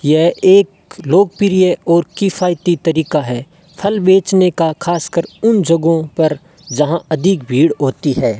यह एक लोगप्रिय और किफ़यती तारिका है फल बेचने का खास कर उन जगाओ पर जहां आदिक भिड होती है।